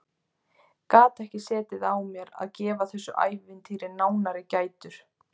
Gat ekki á mér setið að gefa þessu ævintýri nánari gætur.